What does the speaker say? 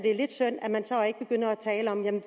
tale om hvordan